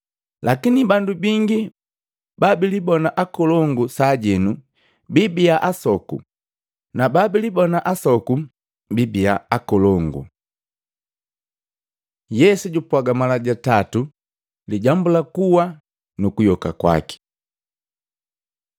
Lakini bandu bingi babilibona akolongu sajenu bibia asoku na babilibona asoku bibia akolongu.” Yesu jupwaga mala jatatu lijambu lu kukuwa nu kuyoka kwaki Matei 20:17-19; Luka 18:31-34